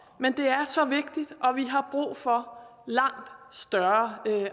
men det er så vigtigt og vi har brug for langt større